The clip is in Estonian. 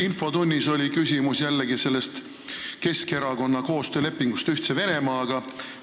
Infotunnis tõstatati jälle küsimus sellest Keskerakonna koostöölepingust Ühtse Venemaaga.